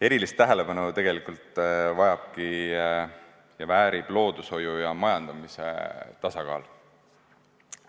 Erilist tähelepanu tegelikult vajab ja väärib loodushoiu ja majandamise tasakaal.